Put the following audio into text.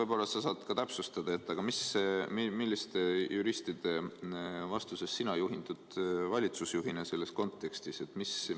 Võib-olla sa saad täpsustada, milliste juristide vastusest sina valitsusjuhina selles küsimuses juhindud?